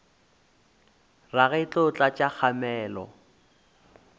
rage e tlo tlatša kgamelo